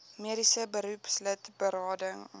mediese beroepslid berading